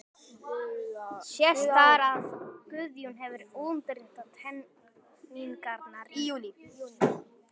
Sést þar, að Guðjón hefur undirritað teikningarnar í júní